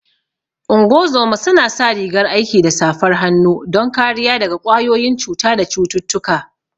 Ungozoma su na sa rigar aiki da safar hannu don kariya daga ƙwayoyin cuta da cututtuka